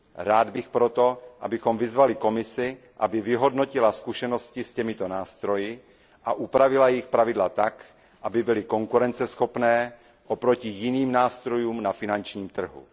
Rád bych proto, abychom vyzvali Komisi, aby vyhodnotila zkušenosti s těmito nástroji a upravila jejich pravidla tak, aby byly konkurenceschopné oproti jiným nástrojům na finančním trhu.